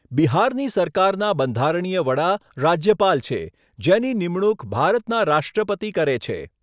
બિહારની સરકારના બંધારણીય વડા રાજ્યપાલ છે, જેની નિમણૂક ભારતના રાષ્ટ્રપતિ કરે છે.